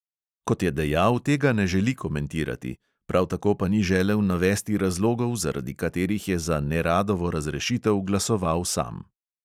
Kot je dejal, tega ne želi komentirati, prav tako pa ni želel navesti razlogov, zaradi katerih je za neradovo razrešitev glasoval sam.